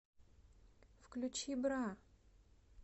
включи бра